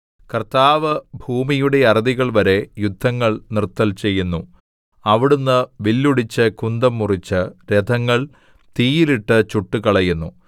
കർത്താവ് ഭൂമിയുടെ അറുതികൾ വരെ യുദ്ധങ്ങൾ നിർത്തൽ ചെയ്യുന്നു അവിടുന്ന് വില്ലൊടിച്ച് കുന്തം മുറിച്ച് രഥങ്ങൾ തീയിൽ ഇട്ട് ചുട്ടുകളയുന്നു